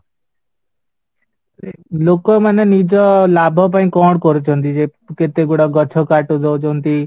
ଲୋକମାନେ ନିଜ ଲାଭ ପାଇଁ କଣ କରୁଛନ୍ତି ଯେ କେତେଗୁଡ଼ା ଗଛ କାଟି ଦେଉଛନ୍ତି